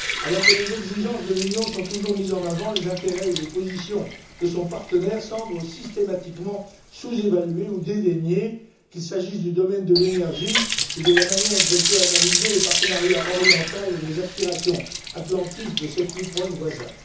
Alors que les exigences de l'Union sont toujours mises en avant, les intérêts ou les positions de son partenaire semblent systématiquement sous évalués ou dédaignés, qu'il s'agisse du domaine de l'énergie ou de la manière dont elle peut analyser le partenariat oriental et les aspirations atlantistes de ses plus proches voisins.